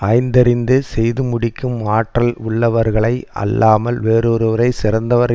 ஆய்ந்தறிந்து செய்து முடிக்கும் ஆற்றல் உள்ளவர்களை அல்லாமல் வேறொருவரைச் சிறந்தவர்